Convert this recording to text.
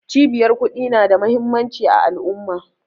Cibiyar ƙudi na da muhimmanci a al'umma